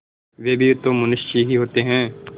वे भी तो मनुष्य ही होते हैं